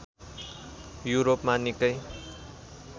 युरोपमा निकै